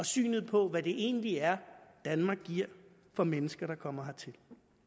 synet på hvad det egentlig er danmark giver for mennesker der kommer hertil